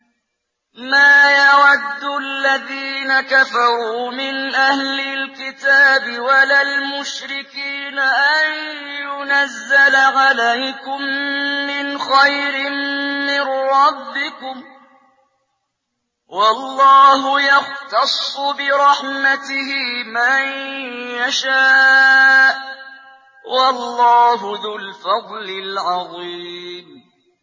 مَّا يَوَدُّ الَّذِينَ كَفَرُوا مِنْ أَهْلِ الْكِتَابِ وَلَا الْمُشْرِكِينَ أَن يُنَزَّلَ عَلَيْكُم مِّنْ خَيْرٍ مِّن رَّبِّكُمْ ۗ وَاللَّهُ يَخْتَصُّ بِرَحْمَتِهِ مَن يَشَاءُ ۚ وَاللَّهُ ذُو الْفَضْلِ الْعَظِيمِ